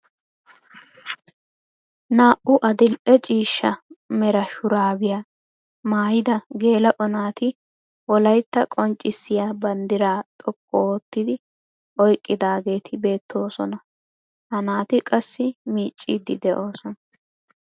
Naa"u adil'e ciishsha mera shuraabiyaa maayida geela'o naati wolaytta qonccisiyaa banddiraa xoqqu oottidi oyqqidaageti beettoosona. ha naati qassi miicciidi de'oosona.